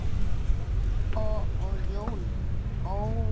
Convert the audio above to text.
Og jólin, ó jólin!